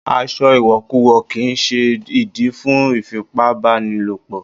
Aṣọ ìwọ̀kuwọ̀ kì ń ṣe ìdí fún ìfipá bá ni lò pọ̀.